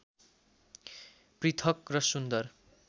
पृथक् र सुन्दर